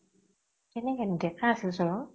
কেনেকে ডেকা আছিল চোন ও